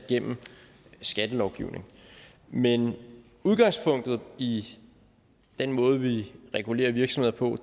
skattelovgivning men udgangspunktet i den måde vi regulerer virksomheder på